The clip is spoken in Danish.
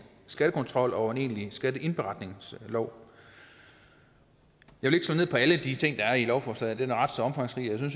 skattekontrol og en egentlig skatteindberetningslov jeg vil på alle de ting der er i lovforslaget det er ret så omfangsrigt og jeg